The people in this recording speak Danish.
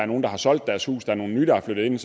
nogle der har solgt deres hus og nogle nye er flyttet ind